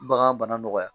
Bagan bana nɔgɔya